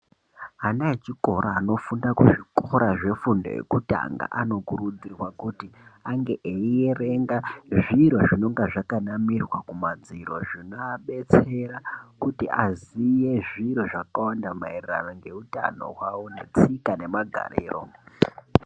Ana echikora anofunda kuzvikora zvefundo yekutanga, anokurudzirwa kuti ange eierenga zviro zvinonga zvakanamirwa kumadziro, zvinoabetsera kuti aziye zviro zvakawanda maererano ngeutano hwavo, netsika nemagariro.